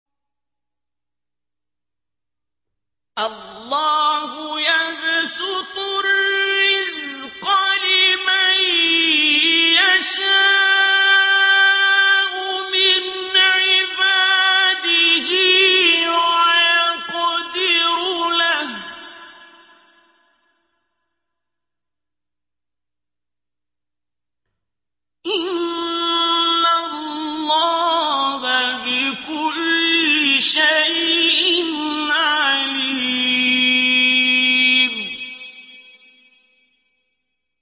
اللَّهُ يَبْسُطُ الرِّزْقَ لِمَن يَشَاءُ مِنْ عِبَادِهِ وَيَقْدِرُ لَهُ ۚ إِنَّ اللَّهَ بِكُلِّ شَيْءٍ عَلِيمٌ